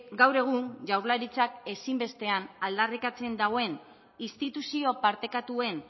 gaur egun jaurlaritzak ezin bestean aldarrikatzen duen instituzio partekatuen